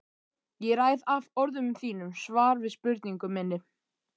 Ég ræð af orðum þínum svar við spurningu minni.